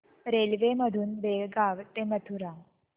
railway मधून बेळगाव ते मथुरा